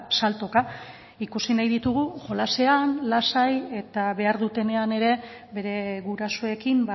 saltoka ikusi nahi ditugu jolasean lasai eta behar dutenean ere bere gurasoekin